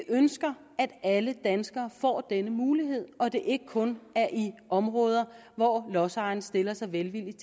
ønsker at alle danskere får denne mulighed og at det ikke kun er i områder hvor lodsejerne stiller sig velvilligt